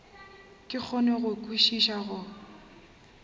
ke kgone go kwešiša go